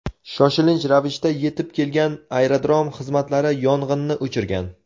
Shoshilinch ravishda yetib kelgan aerodrom xizmatlari yong‘inni o‘chirgan.